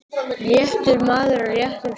réttur maður á réttum stað.